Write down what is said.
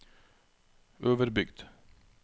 Øverbygd